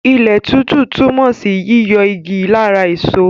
Ilẹ̀ títú túmọ̀ sí yíyọ igi lára èso.